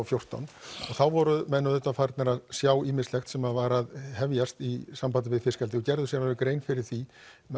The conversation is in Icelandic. fjórtán og þá voru menn auðvitað farnir að sjá ýmislegt sem var að hefjast í sambandi við fiskeldi og gerðu sér alveg grein fyrir því